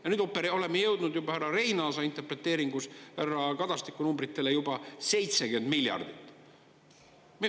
Ja nüüd oleme jõudnud juba härra Reinaasa interpreteeringus härra Kadastiku numbritele juba 70 miljardit.